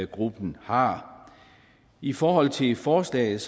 gruppen har i forhold til forslaget